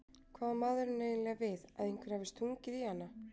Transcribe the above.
Hvað á maðurinn eiginlega við, að einhver hafi stungið í hana?